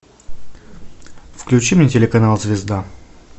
включи мне телеканал звезда